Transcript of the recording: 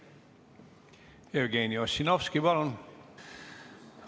Jevgeni Ossinovski, palun!